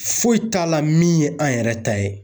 Foyi t'a la min ye an yɛrɛ ta ye.